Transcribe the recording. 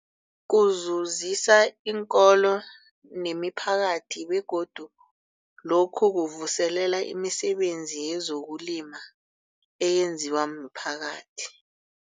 Kuzuzisa iinkolo nemiphakathi begodu lokhu kuvuselela imisebenzi yezokulima eyenziwa miphakathi.